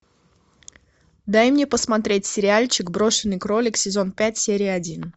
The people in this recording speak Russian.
дай мне посмотреть сериальчик брошенный кролик сезон пять серия один